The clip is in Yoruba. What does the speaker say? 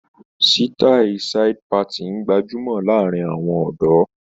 Sítáì side parting gbajúmọ̀ láàárín àwọn ọ̀dọ́.